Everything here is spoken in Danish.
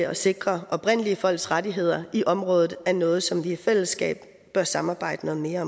at sikre oprindelige folks rettigheder i området er noget som vi i fællesskab bør samarbejde noget mere